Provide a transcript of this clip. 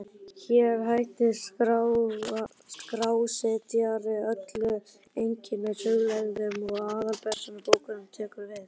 Hér hættir skrásetjari öllum einkahugleiðingum og aðalpersóna bókarinnar tekur við.